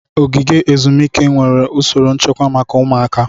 Ogige ezumike nwere usoro nchekwa maka ụmụaka.